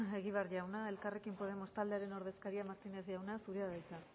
egibar jauna elkarrekin podemos taldearen ordezkariak martínez jauna zurea da hitza